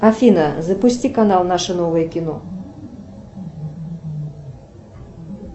афина запусти канал наше новое кино